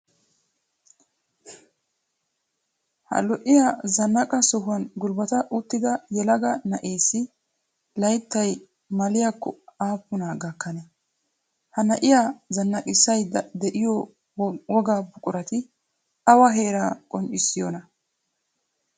Ha lo'iyaa zannaaqa sohuwaan gulbata uttida yelaga na'eessi layttay maliyaakko aapuna gakanee? Ha na'iyaa zannaqisayida de'iyo wogaa buqurati awaa heeraa qonccisiyoonaa?